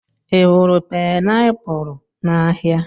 Ị hụrụ painiapulu n'ahịa?